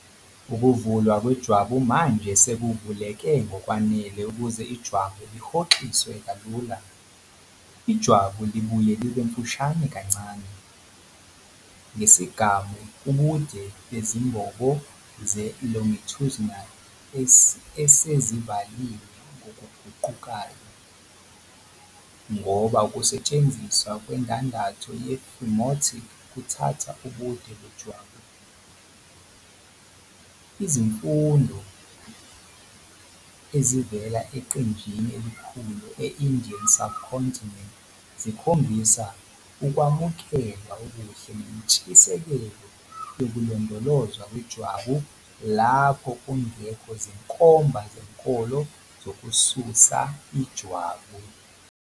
Ukuvulwa kwejwabu manje sekuvuleke ngokwanele ukuze ijwabu lihoxiswe kalula. Ijwabu libuye libe mfushane kancane, ngesigamu ubude bezimbobo ze-longitudinal esezivaliwe ngokuguqukayo, ngoba ukunwetshwa kwendandatho ye-phimotic kuthatha ubude bejwabu. Izifundo ezivela eqenjini elikhulu e-Indian Subcontinent zikhombisa ukwamukelwa okuhle nentshisekelo yokulondolozwa kwejwabu lapho kungekho zinkomba zenkolo zokususa ijwabu.